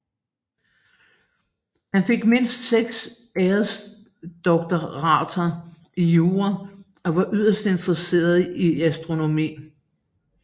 Han fik mindst seks æresdoktorater i jura og var yderst interesseret i astronomi